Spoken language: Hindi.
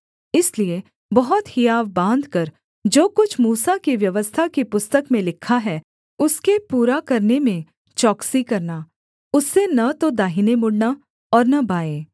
इसलिए बहुत हियाव बाँधकर जो कुछ मूसा की व्यवस्था की पुस्तक में लिखा है उसके पूरा करने में चौकसी करना उससे न तो दाहिने मुड़ना और न बाएँ